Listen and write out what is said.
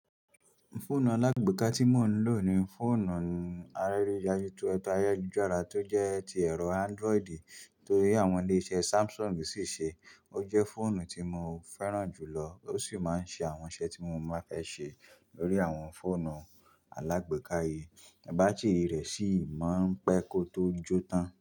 Fóònù alágbeeka tí mò ń lò ni fòònù Àrẹ́rẹ̀ Yayu Tuẹ̀tà Ayẹ́jújára tí ó jẹ́ ti ẹ̀rọ Ándrọìdì tó rí àwọn ilé-iṣẹ́ Samsung sì ṣe. Ó jẹ́ fòònù tí mo fẹ́ràn jùlọ ó sì máa ń ṣe àwọn iṣẹ́ tí mo máa fẹ́ ṣe lórí àwọn fòònù alágbèéká yìí. Bátìrì rẹ̀ sì máa ń pẹ́ kó tó jó tán.